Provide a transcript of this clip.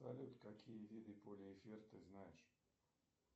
салют какие виды полиэфир ты знаешь